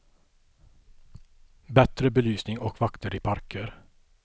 Bättre belysning och vakter i parker.